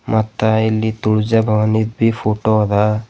ಮತ್ತ್ ಇಲ್ಲಿ Tulja Bhavani B photo ಅದ.